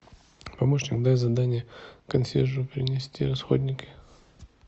помощник дай задание консьержу принести расходники